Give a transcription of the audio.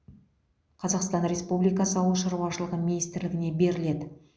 қазақстан республикасы ауыл шаруашылығы министрлігіне беріледі